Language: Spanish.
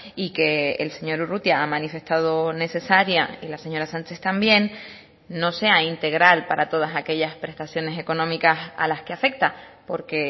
y que el señor urrutia ha manifestado necesaria y la señora sánchez también no sea integral para todas aquellas prestaciones económicas a las que afecta porque